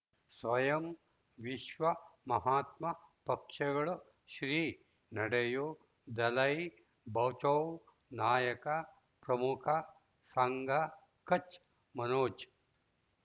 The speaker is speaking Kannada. ಸ್ವಯಂ ವಿಶ್ವ ಮಹಾತ್ಮ ಪಕ್ಷಗಳು ಶ್ರೀ ನಡೆಯೂ ದಲೈ ಬಚೌ ನಾಯಕ ಪ್ರಮುಖ ಸಂಘ ಕಚ್ ಮನೋಜ್